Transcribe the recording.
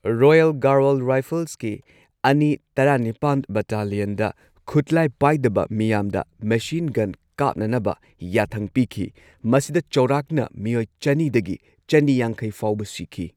Royal Garhwal ꯔꯥꯏꯐꯜꯁꯀꯤ ꯑꯅꯤ ꯇꯔꯥꯅꯤꯄꯥꯟ ꯕꯠꯇꯥꯂꯤꯌꯟꯗ ꯈꯨꯠꯂꯥꯏ ꯄꯥꯏꯗꯕ ꯃꯤꯌꯥꯝꯗ ꯃꯦꯁꯤꯟ ꯒꯟ ꯀꯥꯞꯅꯅꯕ ꯌꯥꯊꯪ ꯄꯤꯈꯤ, ꯃꯁꯤꯗ ꯆꯥꯎꯔꯥꯛꯅ ꯃꯤꯑꯣꯏ ꯆꯅꯤꯗꯒꯤ ꯆꯅꯤꯌꯥꯡꯈꯩ ꯐꯥꯎꯕ ꯁꯤꯈꯤ꯫